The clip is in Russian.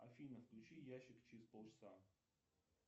афина включи ящик через пол часа